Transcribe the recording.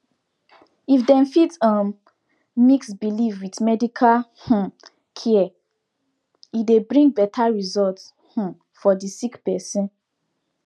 if dem fit um mix belief with medical um care e dey bring better result um for the sick person